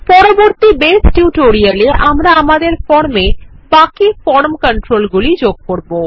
পরবর্তী বেস টিউটোরিয়ালে আমরা আমাদের ফর্মে বাকি ফর্ম কন্ট্রোলগুলি যোগ করব